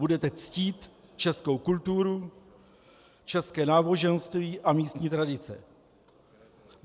Budete ctít českou kulturu, české náboženství a místní tradice.